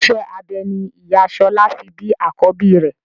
Iṣẹ́ abẹ ni ìyá Ṣọlá fi bí àkọ́bí rẹ̀.